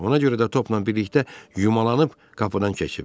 Ona görə də topla birlikdə yumalanıb qapıdan keçib.